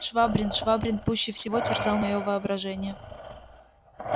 швабрин швабрин пуще всего терзал моё воображение